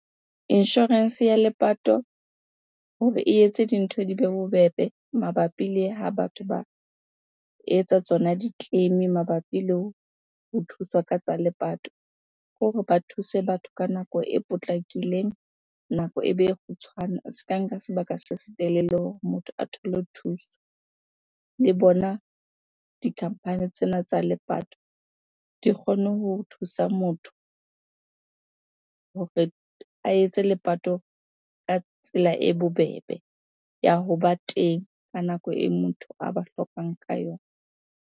Insurance ya lepato hore e etse dintho dibe bobebe mabapi le ha batho ba etsa tsona di-claim, mabapi le ho thuswa ka tsa lepato. Ke hore ba thuse batho ka nako e potlakileng, nako e be e kgutshwane, e ska nka sebaka se setelele hore motho a thole thuso. Le bona di-company tsena tsa lepato di kgone ho thusa motho hore a etse lepato ka tsela e bobebe ya hoba teng ka nako e motho a ba hlokang ka yona.